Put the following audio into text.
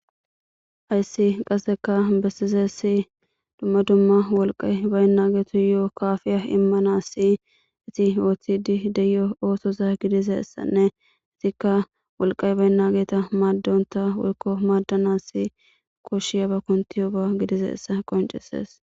Ayssi qasseka bessizessi dumma dumma wolqay baynna geetu yo7o kaafiya immanassi iti ooththidi deyo oosoza gidizessanne izikka wolqay baynna geeta maaddonta woykko maaddanassi koshshiyaba kuntiyoba gidizeessa qoncisees